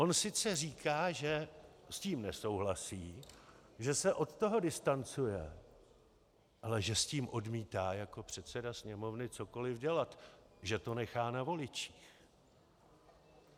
On sice říká, že s tím nesouhlasí, že se od toho distancuje, ale že s tím odmítá jako předseda Sněmovny cokoliv dělat, že to nechá na voličích.